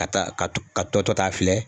Ka taa ka tɔ ka tɔ tɔ ta filɛ